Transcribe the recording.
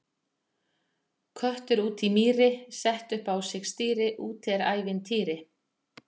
Köttur úti í mýri, setti upp á sig stýri, úti er ævintýri!